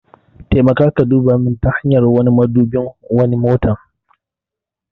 Taimaka ka duba min ta hanyar wani madubin wa wani motar.